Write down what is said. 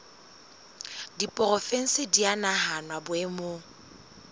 diporofensi di a nahanwa boemong